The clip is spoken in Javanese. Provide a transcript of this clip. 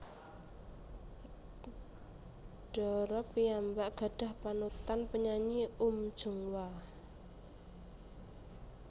Dara piyambak gadhah panutan penyanyi Uhm Jung Hwa